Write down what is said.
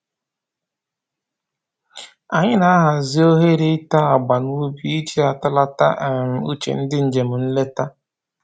Anyị na-ahazi ohere ite agba n'ubi iji atọlata um uche ndị njem nleta